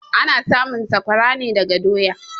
Ana samun sakwara ne daga doya.